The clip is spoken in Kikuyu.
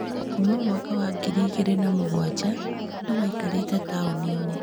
Kuma mwaka wa ngiri igĩrĩ na mũgwanja, andũ maikarĩte taũni-inĩ.